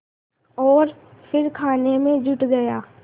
और फिर खाने में जुट गया